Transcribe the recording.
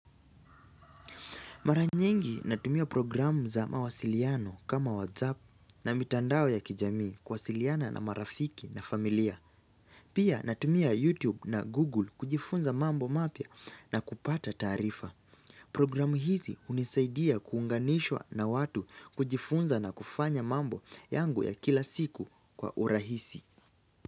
Mara nyingi natumia programu za mawasiliano kama WhatsApp na mitandao ya kijamii kuwasiliana na marafiki na familia. Pia natumia YouTube na Google kujifunza mambo mapya na kupata taarifa. Programu hizi unisaidia kuunganishwa na watu kujifunza na kufanya mambo yangu ya kila siku kwa urahisi.